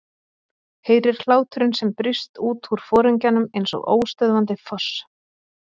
Heyrir hláturinn sem brýst út úr foringjanum eins og óstöðvandi foss.